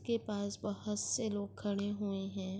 کے پاس بھوت سے لوگ کھڈے ہوئے ہے۔